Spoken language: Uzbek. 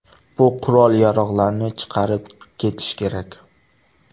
Bu qurol-yarog‘larni chiqarib ketish kerak.